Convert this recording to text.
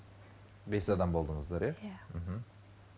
бес адам болдыңыздар иә иә мхм